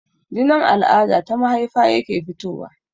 Jinin al'ada ta mahaifa yake fitowa